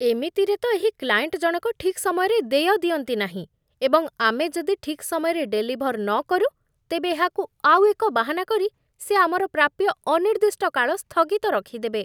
ଏମିତିରେ ତ ଏହି କ୍ଲାଏଣ୍ଟ ଜଣକ ଠିକ୍ ସମୟରେ ଦେୟ ଦିଅନ୍ତି ନାହିଁ, ଏବଂ ଆମେ ଯଦି ଠିକ୍ ସମୟରେ ଡେଲିଭର୍ ନକରୁ, ତେବେ ଏହାକୁ ଆଉ ଏକ ବାହାନା କରି ସେ ଆମର ପ୍ରାପ୍ୟ ଅନିର୍ଦ୍ଦିଷ୍ଟ କାଳ ସ୍ଥଗିତ ରଖିଦେବେ।